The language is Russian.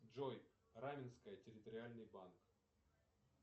джой раменское территориальный банк